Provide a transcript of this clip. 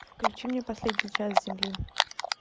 включи мне последний час земли